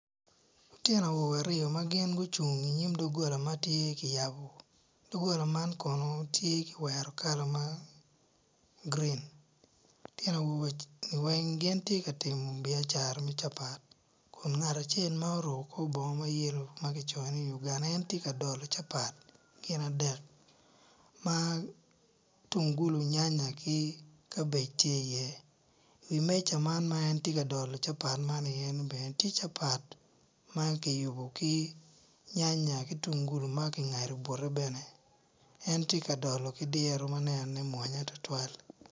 Lutino aryo magin gucung i nyim dogola matye kiyabo dogola man kono tye kiwero kala ma green lutino eni weng gitye ka timo biacara me capat, ngat acel ma oruko kor bongo mayellow magicoyo ni Uganda en tye ka dolo capat gin adek ma tungulu nyanya ki kabej tye i ye i meca man ma entye ka dolo capat man i ye bene tye capat makiyubo gi nyanya ki tungulu makingado bute bene en tye ka dolo kidiro manenone mwonya adada.